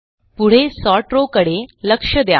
पुढे sort row कडे लक्ष द्या